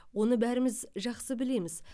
оны бәріміз жақсы білеміз